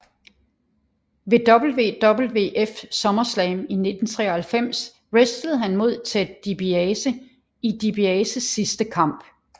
Ved WWF Summerslam 1993 wrestlede han mod Ted DiBiase i DiBiases sidste kamp